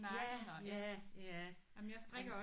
Ja ja ja. Er du